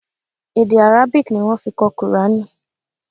Èdè Arabic ni wọ́n fi kọ kùránì.